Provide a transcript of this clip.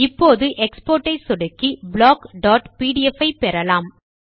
இப்போது எக்ஸ்போர்ட் ஐ சொடுக்கி blockபிடிஎஃப் ஐ பெறலாம்